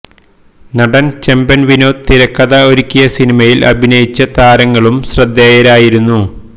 നടന് ചെമ്പന് വിനോദ് തിരക്കഥ ഒരുക്കിയ സിനിമയില് അഭിനയിച്ച താരങ്ങളും ശ്രദ്ധേയരായിരുന്നു